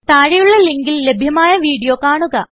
താഴെയുള്ള ലിങ്കിൽ ലഭ്യമായ വീഡിയോ കാണുക